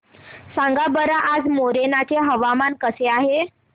सांगा बरं आज मोरेना चे हवामान कसे आहे